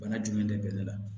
Bana jumɛn de bɛ ne la